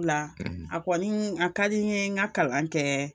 A kɔni a ka di n ye n ka kalan kɛ